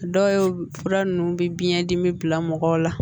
Dɔw fura ninnu bɛ biyɛn dimi bila mɔgɔw la